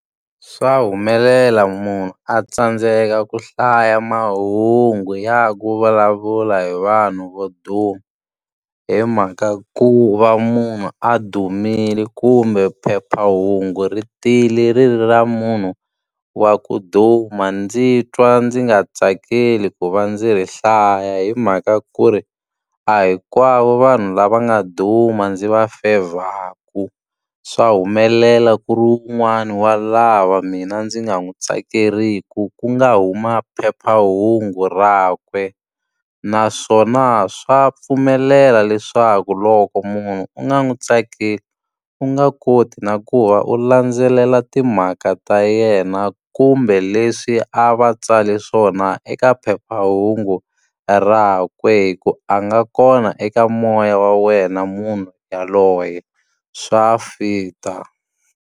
Swa humelela munhu a tsandzeka ku hlaya mahungu ya ku vulavula hi vanhu vo duma, hi mhaka ku va munhu a dumile. Kumbe phephahungu ri tile ri ri ra munhu wa ku duma ndzi twa ndzi nga tsakeli ku va ndzi ri hlaya hi mhaka ku ri, a hinkwavo vanhu lava nga duma ndzi va fevhaku. Swa humelela ku ri un'wana wa lava mina ndzi nga n'wi tsakeriki, ku nga huma phephahungu rakwe. Naswona swa pfumelela leswaku loko munhu u nga n'wi tsakeli, u nga koti na ku va u landzelela timhaka ta yena kumbe leswi a va tsale swona eka phephahungu rakwe hi ku a nga kona eka moya wa wena munhu yaloye. Swa fit-a.